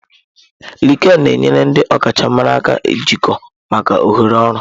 Lịkịịnị na-enyere ndị ọkachamara aka jikọọ maka ohere ọrụ.